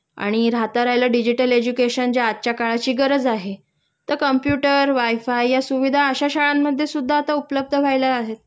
आणि राहता राहील डिजिटल एडुकेशन जे आजच्या काळाची गरज आहे तर कंप्युटर वायफाय या सुविधा अशा शाळांमध्ये सुद्धा आता उपलब्ध व्हायला आहेत